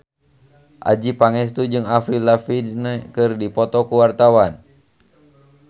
Adjie Pangestu jeung Avril Lavigne keur dipoto ku wartawan